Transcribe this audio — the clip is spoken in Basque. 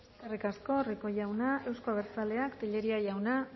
eskerrik asko rico jauna euzko abertzaleak tellería jauna